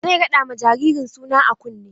Zai raɗa ma jaririn suna a kunne.